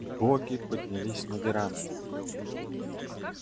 боги поднялись на веранду